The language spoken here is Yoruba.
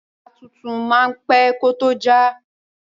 Bàtà tuntun máa pẹ́ kó tó já.